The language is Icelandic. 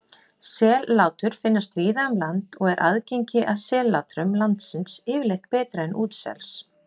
Sellátur finnast víða um land og er aðgengi að sellátrum landsels yfirleitt betra en útsels.